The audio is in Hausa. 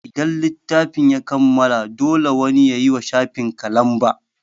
Idan littafin ya kammala, dole wani yayiwa shafikan lamba